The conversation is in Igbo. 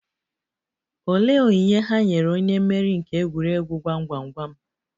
Olee onyinye ha nyere onye mmeri nke egwuregwu gwam gwam gwam?